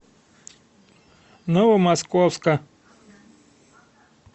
новомосковска